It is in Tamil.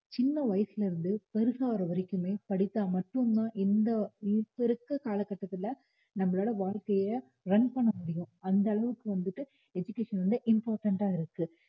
சின்ன வயசுல இருந்து பெருசாகிற வரைக்குமே படித்தால் மட்டும் தான் இந்த இப்போ இருக்க காலகட்டத்தில நம்மளால வாழ்க்கையை run பண்ண முடியும் அந்த அளவுக்கு வந்துட்டு education வந்து important ஆ இருக்கு